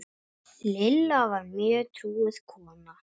Lilla var mjög trúuð kona.